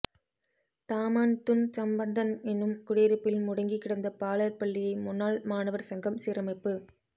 Taman Tun Sambanthan எனும் குடியிருப்பில் முடங்கி கிடந்த பாலர் பள்ளியை முன்னாள் மாணவர் சங்கம் சீரமைப்பு